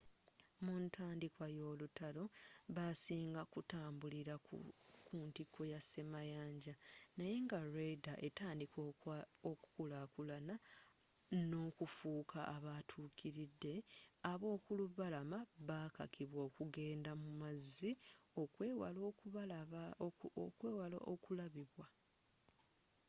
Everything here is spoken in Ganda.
muntandikwa y'olutalo basinga kutambuliranga ku ntiko y'asemayanja naye nga radar etandika okukulakulana n'okufuuka abatuukiridde ab'okulubalama bakakibwa okugenda mumazzi okwewala okulabibwa